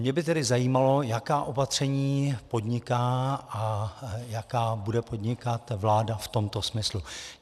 Mě by tedy zajímalo, jaká opatření podniká a jaká bude podnikat vláda v tomto smyslu.